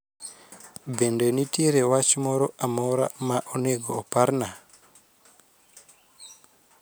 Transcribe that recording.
Bende nitiere wach moro amora ma onego oparna